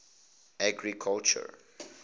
agriculture